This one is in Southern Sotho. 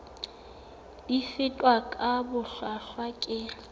di fetwa ka bohlwahlwa ke